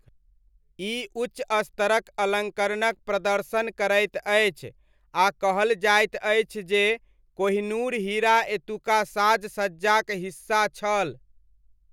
ई उच्च स्तरक अलङ्करणक प्रदर्शन करैत अछि आ कहल जाइत अछि जे कोहिनूर हीरा एतुका साज सज्जाक हिस्सा छल।